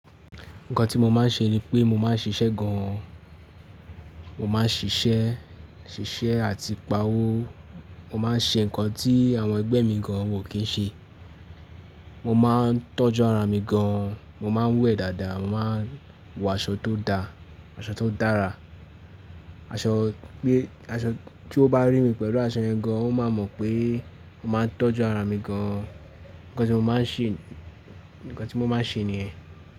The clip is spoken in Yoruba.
Nǹkan tí mo máa ń ṣe ni pé mo máa ń ṣiṣẹ́ gan an, mo máa ń ṣiṣẹ́, ṣiṣẹ́ àti pa’wó, mo máa ń ṣe nǹkan tí àwọn ẹgbẹ́ mi gan an wọ́n kì í ṣe, mo máa ń tọ́jú ara mi gan an, mo máa ń wẹ̀ dáadáa, mo máa ń wọ aṣọ tó da, aṣọ tó dára, aṣọ pé aṣọ tí ó bá rí mi pẹ̀lú aṣọ yẹn gan an, ó máa mọ̀ pé mo máa ń tọ́jú ara mi gan an. Nǹkan tí mo máa ń ṣe, nǹkan tí mo máa ń ṣe nìyẹn.